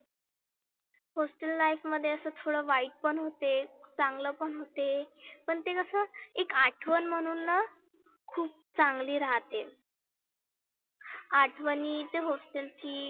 hostel life मध्ये असं थोड वाईट पण होते. चांगलं पण होते. पण ते कसं एक आठवन म्हणुन ना खुप चांगली राहते. आठवनी ते hostel ची